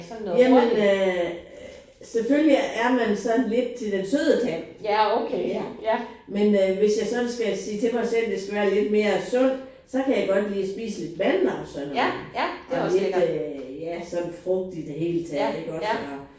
Jamen øh selvfølgelig er man sådan lidt til den søde tand. Ja. Men øh hvis jeg sådan skal sige til mig selv det skal være lidt mere sundt så kan jeg godt lide at spise lidt mandler og sådan og lidt øh ja sådan frugt i det hele taget